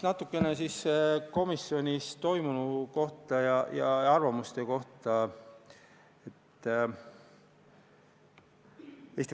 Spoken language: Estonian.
Natuke komisjonis toimunu kohta ja arvamuste kohta.